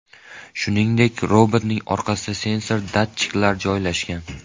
Shuningdek, robotning orqasida sensor datchiklar joylashgan.